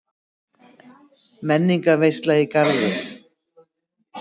Menningarveisla í Garði